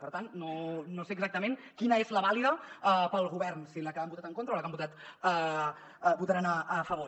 per tant no sé exactament quina és la vàlida per al govern si la que han votat en contra o la que votaran a favor